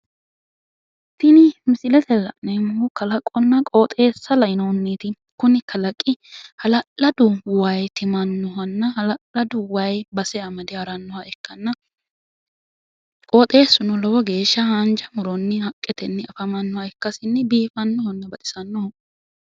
Tini misilete la'neemmohu kalaqonna qooxeessa lainohunniti kuni kalaqi hala'ladu wayi timannohanna hala'ladu wayi base amade harannoha ikkanna qooxeessuno lowo geeshsha haanja muronni haqqetenni afamanno ikkasinni biifanno baxisannoho.